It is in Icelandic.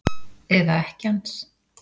Eða ekkja hans?